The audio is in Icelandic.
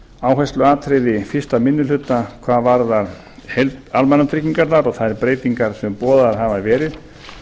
áhersluatriði fyrsti minni hluta hvað varðar almannatryggingarnar og þær breytingar sem boðaðar hafa verið